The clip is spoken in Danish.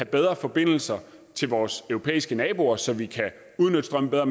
bedre forbindelser til vores europæiske naboer så vi kan udnytte strømmen bedre